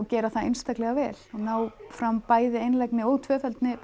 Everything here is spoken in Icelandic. gera það einstaklega vel og ná fram bæði einlægni og tvöfeldni